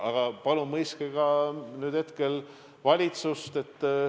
Aga palun mõistke ka nüüd hetkel valitsust.